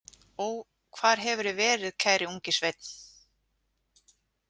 Ó, hvar hefurðu verið, kæri ungi sveinn?